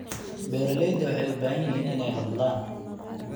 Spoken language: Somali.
Beeraleydu waxay u baahan yihiin inay hadlaan.